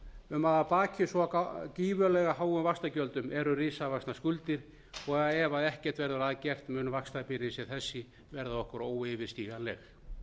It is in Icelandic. um að að baki svo gífurlega háum vaxtagjöldum eru risavaxnar skuldir og ef ekkert verður að gert mun vaxtabyrði sem þessi verða okkur óyfirstíganleg